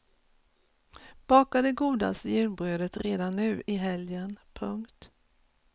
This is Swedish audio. Baka det godaste julbrödet redan nu i helgen. punkt